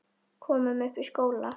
Komum upp í skóla!